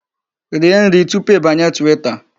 Rie nri tupu ịbanye Twitter.